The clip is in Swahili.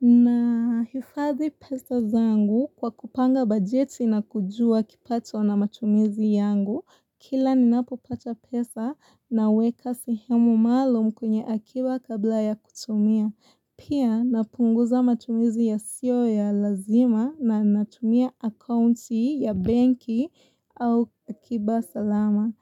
Nahifadhi pesa zangu kwa kupanga bajeti na kujua kipato na matumizi yangu. Kila ninapopata pesa naweka sehemu maalum kwenye akiba kabla ya kutumia. Pia napunguza matumizi yasiyo ya lazima na natumia akaunti ya benki au akiba salama.